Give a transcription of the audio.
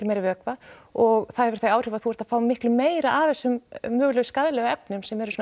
meiri vökva og það hefur þau áhrif að þú ert að fá miklu meira af þessum mögulega skaðlegu efnum sem eru svona